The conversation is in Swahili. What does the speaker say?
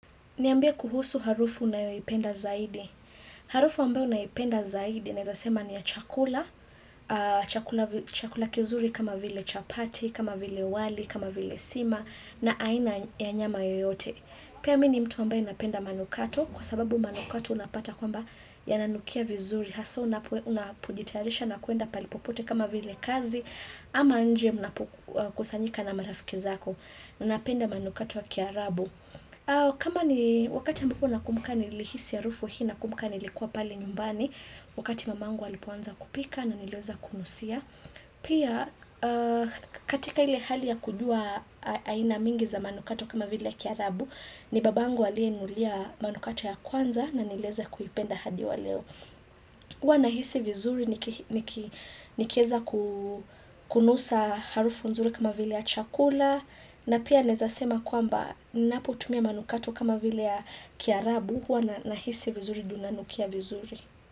Niambie kuhusu harufu unayoipenda zaidi. Harufu ambayo naipenda zaidi naweza sema ni ya chakula, chakula kizuri kama vile chapati, kama vile wali, kama vile sima, na aina ya nyama yoyote. Pia mi ni mtu ambaye napenda manukato, kwa sababu manukato unapata kwamba yananukia vizuri. Haswa unapojitayarisha na kuenda pahali popote kama vile kazi, ama nje unapokusanyika na marafiki zako. Napenda manukato ya kiarabu. Kama ni wakati ambapo nakumbuka nilihisi harufu hii nakumbuka nilikuwa pale nyumbani Wakati mamangu alipoanza kupika ndo nileweza kunusia. Pia katika ile hali ya kujua aina mingi za manukato kama vile ya kiarabu. Ni babangu aliyeninunulia manukato ya kwanza na nileweza kuipenda hadi wa leo huwa nahisi vizuri nikiweza kunusa harufu nzuri kama vile ya chakula. Na pia naweza sema kwamba ninapotumia manukato kama vile ya kiarabu huwa nahisi vizuri juu nanukia vizuri.